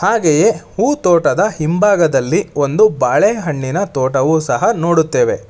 ಹಾಗೆಯೇ ಹೂ ತೋಟದ ಹಿಂಭಾಗದಲ್ಲಿ ಒಂದು ಬಾಳೆಹಣ್ಣಿನ ತೋಟವು ಸಹ ನೋಡುತ್ತೇವೆ.